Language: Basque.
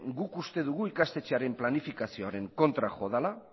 guk uste dugu ikastetxearen planifikazioaren kontra jo dela